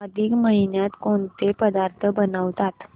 अधिक महिन्यात कोणते पदार्थ बनवतात